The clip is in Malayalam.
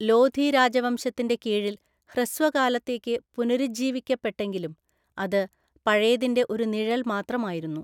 ലോധി രാജവംശത്തിൻ്റെ കീഴിൽ ഹ്രസ്വകാലത്തേക്ക് പുനരുജ്ജീവിക്കപ്പെട്ടെങ്കിലും, അത് പഴയതിൻ്റെ ഒരു നിഴൽ മാത്രമായിരുന്നു.